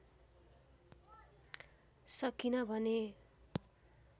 सकिन भने